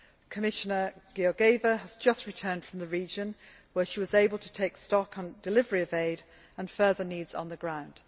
Commissioner Georgieva has just returned from the region, where she was able to take stock on delivery of aid and further needs on the ground.